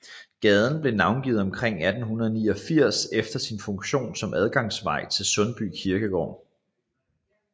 Gaden blev navngivet omkring 1889 efter sin funktion som adgangsvej til Sundby Kirkegård